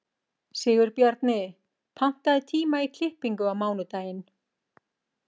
Sigurbjarni, pantaðu tíma í klippingu á mánudaginn.